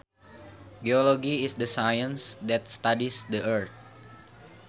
Geology is the science that studies the earth